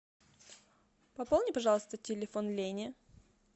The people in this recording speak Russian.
пополни пожалуйста телефон лене